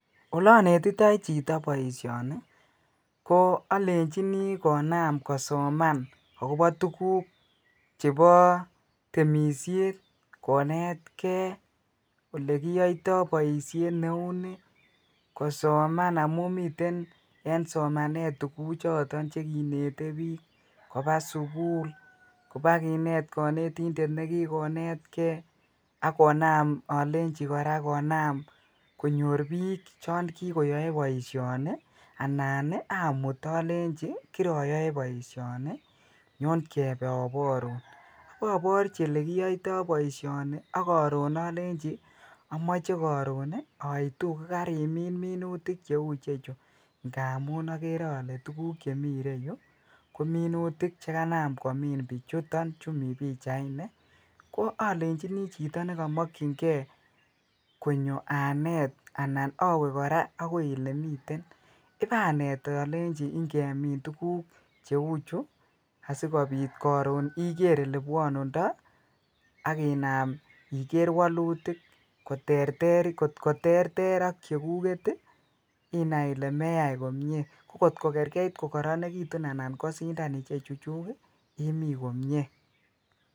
Ole onetitoi chito boishoni ko olenjini konam kosoman akobo tukuk chebo temishet konetgee olekiyoito boishet neuni kosoman amun miten en somanet tukuchuton chekinete bik koba sukul koba kinet konetindet nekikonetgee ak konam olenjin koraa konam konyor bik chon kikoyoe boishoni anan amut olenji kiroyoe boishoni nyon kebe oborun. Oborchi olekiyoito boishoni ak korun olenji omoche korun nii oitu ko karimin minutik cheu ichechu ngamun okere ole tukuk chemii ireyuu kominutik chekanam komii bichuton chumii pichaini ko olenjinii chitoo nekomokingee konyo anet anan owee Koraa okoi olemiten ipanet olenji ikemin tukuk cheu chuu asikopit korun ikere ole bwonundo ak inam ikere wolutik koterteri kotko terter ak chekuket tii inai Ile meyai komie, ko kotko kerkei ko koronekitun anan kosinda ichechu chuk kii imii komie.